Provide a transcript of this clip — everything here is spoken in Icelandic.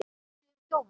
Þið eruð þjófar!